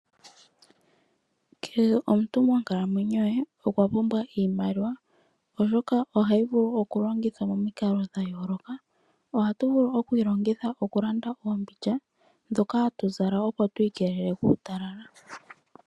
Kehe omuntu monkalamwenyo ye okwa pumbwa iimaliwa, oshoka ohayi vulu oku longithwa momikalo dha yooloka. Ohatu vulu oku yi longitha mokulanda oombindja ndhoka ha tu zala opo tu ikeelele kuutalala.